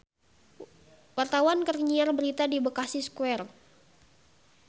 Wartawan keur nyiar berita di Bekasi Square